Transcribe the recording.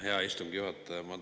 Hea istungi juhataja!